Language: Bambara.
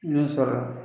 N y'o sɔrɔ